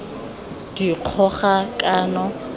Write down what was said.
dikgogakano